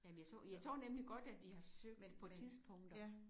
Jamen jeg så jeg så nemlig godt at i har søgt på tidspunkter